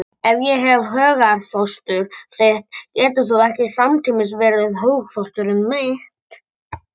Ef ég er hugarfóstur þitt getur þú ekki samtímis verið hugarfóstur mitt.